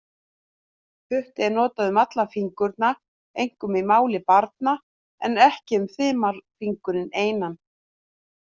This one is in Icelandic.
Putti er notað um alla fingurna, einkum í máli barna, en ekki um þumalfingurinn einan.